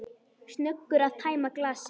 Snöggur að tæma glasið.